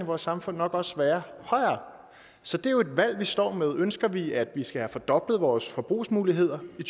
vores samfund nok også være højere så det er jo et valg vi står med ønsker vi at vi skal have fordoblet vores forbrugsmuligheder i